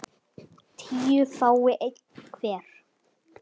tíu fái einn hver